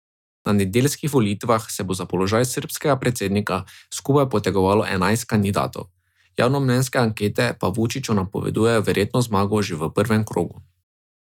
Na nedeljskih volitvah se bo za položaj srbskega predsednika skupno potegovalo enajst kandidatov, javnomnenjske ankete pa Vučiću napovedujejo verjetno zmago že v prvem krogu.